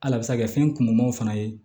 Al'a bɛ se ka kɛ fɛn kunmamaw fana ye